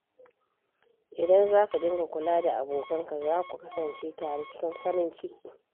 Idan za ka dinga kula da abokanka, za ku kasance tare cikin farin ciki.